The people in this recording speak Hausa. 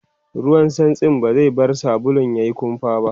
ruwan santsin ba zai bar sabulun yayi kumfa ba